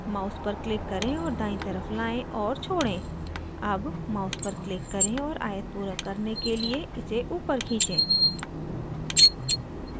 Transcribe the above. mouse पर click करें और दायीं तरफ लाएं और छोड़ें अब mouse पर click करें और आयत पूरा करने के लिए इसे upward खींचें